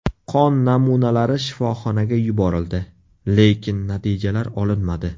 Qon namunalari shifoxonaga yuborildi, lekin natijalar olinmadi.